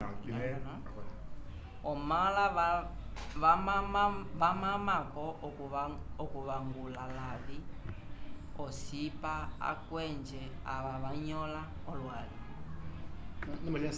omala vamamako okuvangula lavi ocipa akwenje ava vanyola olwali